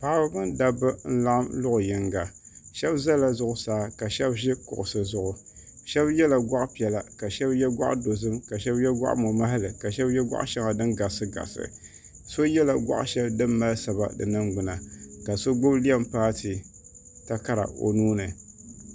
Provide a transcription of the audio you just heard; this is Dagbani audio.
Paɣaba mini dabba n laɣim luɣu yiŋga shɛba za la zuɣusaa ka shɛba zi kuɣisi zuɣu shɛba ye la gɔɣi piɛlla ka shɛba ye gɔɣi dozim ka shɛba ye gɔɣi mo mahali ka shɛba ye gɔɣi shɛŋa dini garisi garisi so ye la gɔɣi shɛli dini mali saba di niŋgbuna ni ka so gbubi leem paati takara o nuu ni.